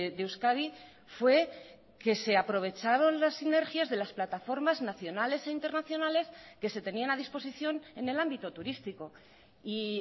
de euskadi fue que se aprovecharon las sinergias de las plataformas nacionales e internacionales que se tenían a disposición en el ámbito turístico y